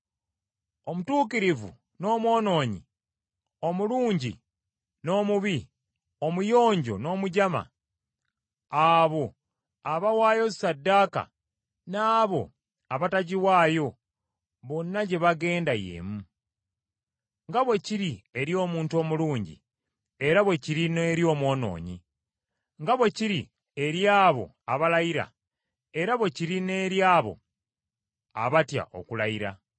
Omutuukirivu n’omwonoonyi, omulungi n’omubi, omuyonjo n’omujama, abo abawaayo ssaddaaka n’abo abatagiwaayo bonna gye bagenda y’emu. Nga bwe kiri eri omuntu omulungi, era bwe kiri n’eri omwonoonyi; Nga bwe kiri eri abo abalayira, era bwe kiri n’eri abo abatya okulayira.